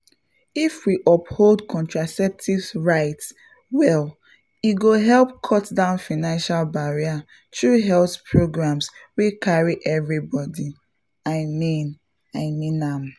if we uphold contraceptive rights well e go help cut down financial barrier through health programs wey carry everybody — i mean i mean am